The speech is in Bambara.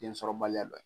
Densɔrɔbaliya don